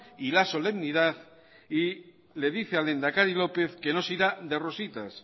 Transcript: y la solemnidad y le dice al lehendakari lópez que no se irá de rositas